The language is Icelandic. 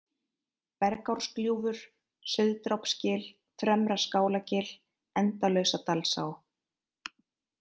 Bergárgljúfur, Sauðdrápsgil, Fremra-Skálagil, Endalausadalsá